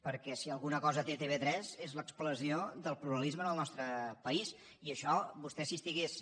perquè si alguna cosa té tv3 és l’expressió del pluralisme en el nostre país i això vostè si estigués